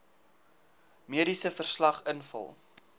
mediese verslag invul